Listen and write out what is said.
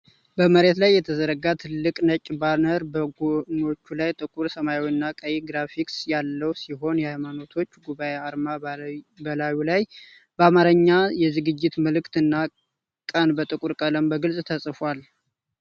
በመሬት ላይ የተዘረጋው ትልቅ ነጭ ባነር በጎኖቹ ላይ ጥቁር ሰማያዊ እና ቀይ ግራፊክስ ያለው ሲሆን፣ የሃይማኖቶች ጉባኤ አርማ በላዩ ላይ፣ በአማርኛ የዝግጅት መልእክት እና ቀን በጥቁር ቀለም በግልጽ ተጽፈዋል።